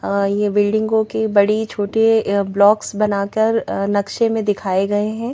अ ये बिल्डिंगो के बड़े छोटे ब्लॉक्स बनाकर अ नक्शे में दिखाए गए हैं।